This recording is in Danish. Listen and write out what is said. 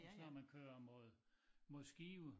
Og så når man kører mod mod Skive